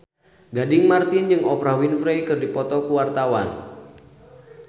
Gading Marten jeung Oprah Winfrey keur dipoto ku wartawan